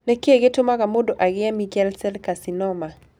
Nĩ kĩĩ gĩtũmaga mũndũ agĩe Merkel cell carcinoma?